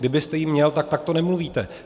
Kdybyste ji měl, tak takto nemluvíte.